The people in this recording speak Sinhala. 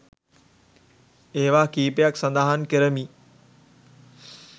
ඒවා කීපයක් සඳහන් කරමි.